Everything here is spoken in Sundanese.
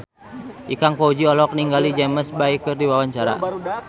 Ikang Fawzi olohok ningali James Bay keur diwawancara